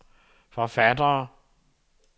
forfattere